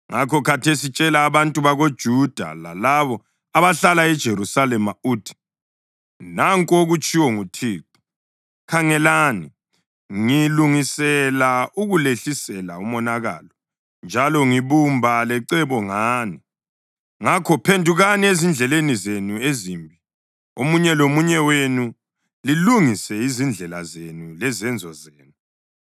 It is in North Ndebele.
Ngakho khathesi tshela abantu bakoJuda lalabo abahlala eJerusalema uthi, ‘Nanku okutshiwo nguThixo: Khangelani! Ngilungisela ukulehlisela umonakalo njalo ngibumba lecebo ngani. Ngakho phendukani ezindleleni zenu ezimbi, omunye lomunye wenu, lilungise izindlela zenu lezenzo zenu.’